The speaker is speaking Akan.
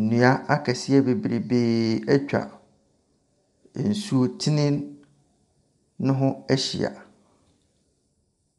Nnua akɛseɛ bebree atwa nsutene no ho ahyia.